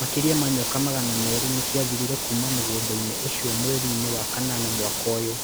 Makĩria ma nyoka magana meerĩ nĩ ciathirire kuuma mũgũnda-inĩ ũcio mweri-inĩ wa kanana mwaka ũyũ.